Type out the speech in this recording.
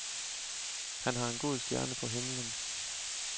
Han har en god stjerne på himlen.